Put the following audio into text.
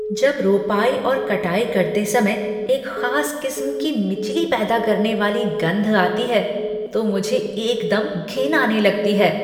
जब रोपाई और कटाई करते समय एक खास किस्म की मिचली पैदा करने वाली गंध आती है तो मुझे एकदम घिन आने लगती है।